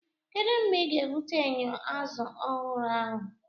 Kedu mgbe ị ga-ebute enyo azụ ọhụrụ ahụ?